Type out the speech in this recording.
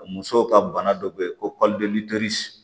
Musow ka bana dɔ bɛ yen ko